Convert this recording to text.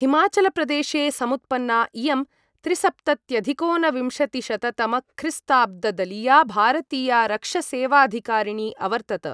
हिमाचलप्रदेशे समुत्पन्ना इयं त्रिसप्तत्यधिकोनविंशतिशततमख्रीस्ताब्ददलीया भारतीयारक्षसेवाधिकारिणी अवर्तत।